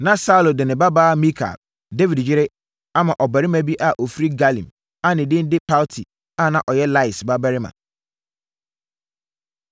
Na Saulo de ne babaa Mikal, Dawid yere, ama ɔbarima bi a ɔfiri Galim a ne din de Palti a na ɔyɛ Lais babarima.